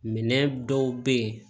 Minɛn dɔw bɛ ye